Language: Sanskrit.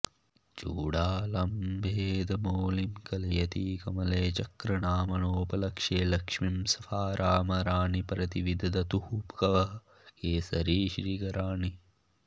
चूडालं वेदमौलिं कलयति कमले चक्रनाम्नोपलक्ष्ये लक्ष्मीं स्फारामराणि प्रतिविदधतु वः केसरश्रीकराणि